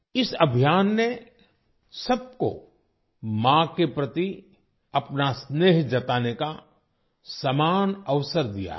इस अभियान ने सबको माँ के प्रति अपना स्नेह जताने का समान अवसर दिया है